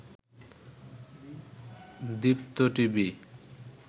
Deepto TV